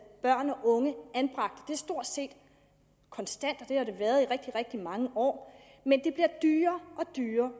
børn og unge anbragt det er stort set konstant og det har det været i rigtig rigtig mange år men det bliver dyrere og dyrere